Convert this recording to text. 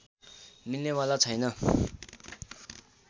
मिल्नेवाला छैन